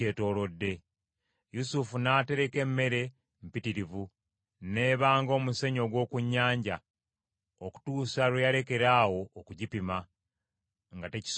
Yusufu n’atereka emmere mpitirivu, n’ebanga omusenyu ogw’oku nnyanja, okutuusa lwe yalekeraawo okugipima, nga tekisoboka kugipima.